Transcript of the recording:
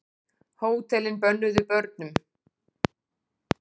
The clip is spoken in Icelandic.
Hótelin bönnuð börnum